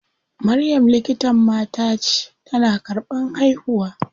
Maryam likitan mata ce, tana karɓan haihuwa.